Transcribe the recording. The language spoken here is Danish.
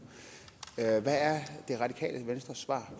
hvad er det radikale venstres svar